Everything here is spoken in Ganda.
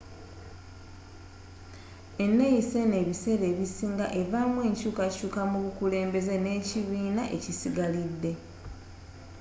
eneeyisa eno ebiseera ebisinga evaamu enkyuukakyuuka mu bukulembeze nekibiina ekisigalidde